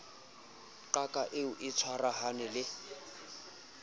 qaka eo a tshwarahaneng le